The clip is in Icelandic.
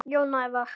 Jón Ævar.